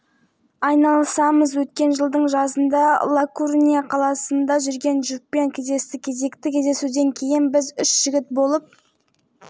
бұл енді біздің испаниялық достарымыздың еңбегі парақша деп аталатындықтан көбінесе ол жерде еуропалық оқырмандар отырады пікірлердің көбі